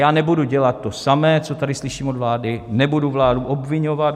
Já nebudu dělat to samé, co tady slyším od vlády, nebudu vládu obviňovat.